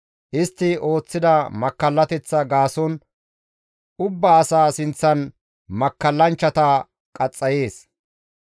Istti ooththida makkallateththa gaason ubbaa asa sinththan makkallanchchata qaxxayees.